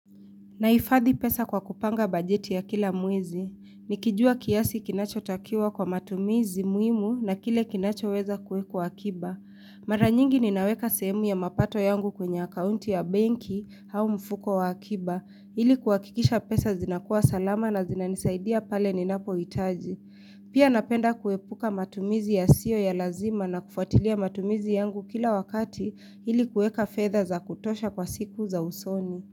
Nahifadhi pesa kwa kupanga bajeti ya kila mwezi. Nikijua kiasi kinachotakiwa kwa matumizi muhimu na kile kinachoweza kuwekwa akiba. Mara nyingi ninaweka sehemu ya mapato yangu kwenye akaunti ya benki au mfuko wa akiba ili kuhakikisha pesa zinakuwa salama na zinanisaidia pale ninapohitaji. Pia napenda kuepuka matumizi yasiyo ya lazima na kufuatilia matumizi yangu kila wakati ili kuweka fedha za kutosha kwa siku za usoni.